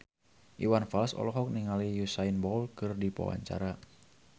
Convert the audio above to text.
Iwan Fals olohok ningali Usain Bolt keur diwawancara